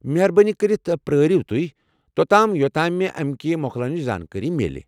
مہربٲنی كرِتھ پیٲرِیو توہہ، توتام یوتام مے امہِ كہِ موكلنٕچہِ زانكٲری میلہِ ۔